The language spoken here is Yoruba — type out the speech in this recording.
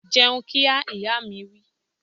Jẹun kíá! Ìyá mi wí